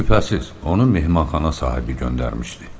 Şübhəsiz, onu mehmanxana sahibi göndərmişdi.